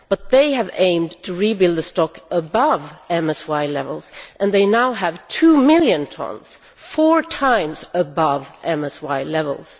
But they have aimed to rebuild the stock above MSY levels, and they now have two million tonnes four times MSY levels.